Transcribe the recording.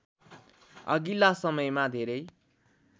अघिल्ला समयमा धेरै